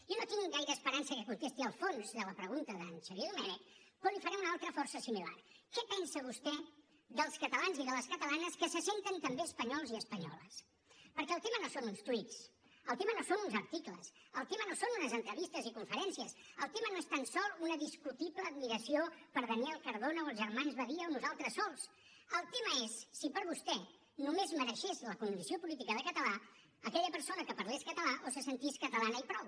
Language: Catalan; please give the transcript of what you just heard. jo no tinc gaire esperança que contesti el fons de la pregunta d’en xavier domènech però li’n faré una altra força similar què pensa vostè dels catalans i de les catalanes que se senten també espanyols i espanyoles perquè el tema no són uns tuits el tema no són uns articles el tema no són unes entrevistes i conferències el tema no és tan sols una discutible admiració per daniel cardona o els germans badia o nosaltres sols el tema és si per vostè només mereixés la condició política de català aquella persona que parles català o se sentis catalana i prou